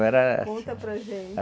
Era assim... Conta para gente...